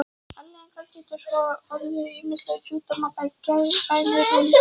Afleiðingarnar geta svo orðið ýmsir sjúkdómar, bæði geðrænir og líkamlegir.